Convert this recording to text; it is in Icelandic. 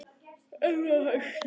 Ilmur af hausti!